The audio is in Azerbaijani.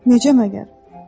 Necə məgər?